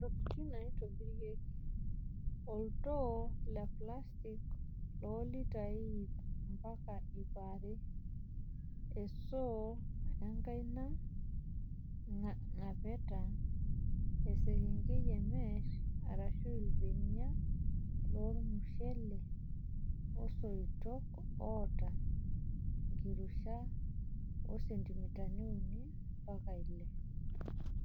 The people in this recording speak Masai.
Ntokitin naitobirieki; Oltoo leplastik loo litai iip ompaka iip aree, esoo enkaina, ng'apeta, esekengei emesh arashu iirbenia lormushele oosoitok ooata enkirusha o sentimitani uni mpaka ile.